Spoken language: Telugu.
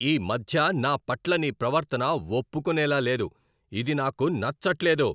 ఈ మధ్య నా పట్ల నీ ప్రవర్తన ఒప్పుకునేలా లేదు, ఇది నాకు నచ్చట్లేదు.